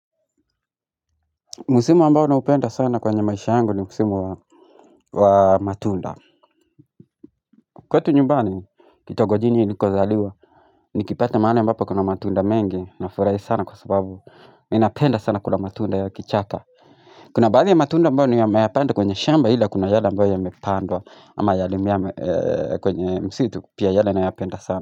Msimu ambao naupenda sana kwenye maisha yangu ni msimu wa matunda kwetu nyumbani kitongojini nilikozaliwa nikipata mahali ambapo kuna matunda mengi nafurahi sana kwa sababu ninapenda sana kula matunda ya kichaka Kuna baadhi ya matunda ambayo nimeyapanda kwenye shamba ila kuna yale ambayo yamepandwa ama yalimea kwenye msitu pia yale nayapenda sana.